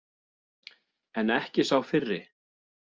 En ekki sá fyrri.